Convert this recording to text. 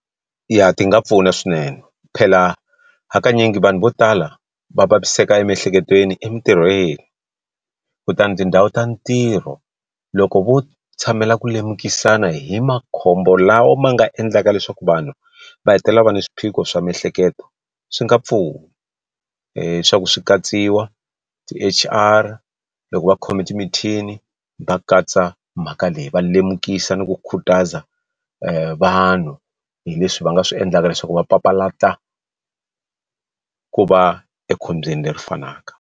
Yah, ti nga pfuna swinene phela hakanyingi vanhu vo tala va vaviseka emiehleketweni emintirhweni kutani tindhawu ta ntirho loko vo tshamela ku lemukisana hi makhombo lawa ma nga endlaka leswaku vanhu va hetelela va ni swiphiqo swa miehleketo swi nga pfuna leswaku swi katsiwa ti H_R loko va khome timithini va katsa mhaka leyi va lemukisa ni ku khutaza vanhu hi leswi va nga swi endlaka leswaku va papalata ku va ekhombyeni leri fanaka.